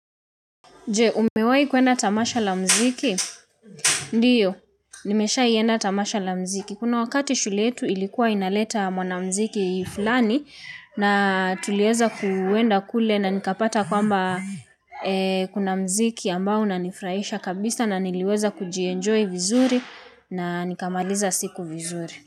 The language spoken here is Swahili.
Je, umewahi kuenda tamasha la muziki? Ndio, nimeshahi enda tamasha la muziki. Kuna wakati shule yetu ilikuwa inaleta mwanamuziki fulani na tuliweza kuenda kule na nikapata kwamba kuna muziki ambao unanifurahisha kabisa na niliweza kujienjoy vizuri na nikamaliza siku vizuri.